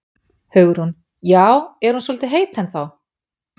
Hugrún: Já, er hún svolítið heit ennþá?